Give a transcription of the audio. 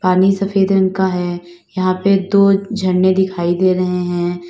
पानी सफेद रंग का है यहां पे दो झरने दिखाई दे रहे हैं।